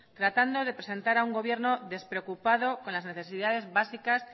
tratando de presentar a un gobierno despreocupado con las necesidades básicas